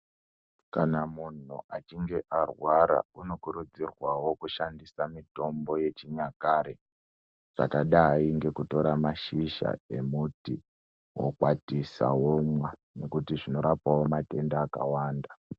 Kana munhu achinge arwara unokurudzirwawo kushandisa mitombo yechinyakare yakadai ngekutora mashizha emuti wokwatisa womwa nekuti zvinorapawo matenda akawanda.